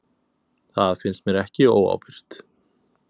Það finnst mér ekki óábyrgt.